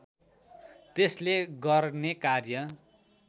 त्यसले गर्ने कार्य